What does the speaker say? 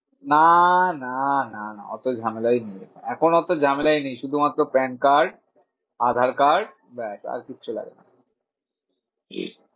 নাহ নাহ না না অত ঝামেলাই নেই। এখন অত ঝামেলাই নেই শুধু মাত্র PAN card Aadhar card ব্যাস আর কিচ্ছু লাগবে না।